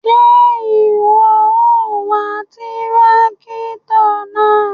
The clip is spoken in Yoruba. Ṣe iwọ o wá tìràkitọ náà?